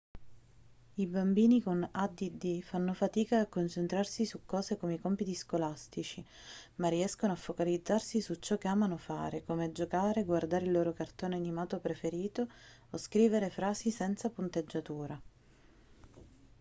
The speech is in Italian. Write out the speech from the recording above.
i bambini con add fanno fatica a concentrarsi su cose come i compiti scolastici ma riescono a focalizzarsi su ciò che amano fare come giocare guardare il loro cartone animato preferito o scrivere frasi senza punteggiatura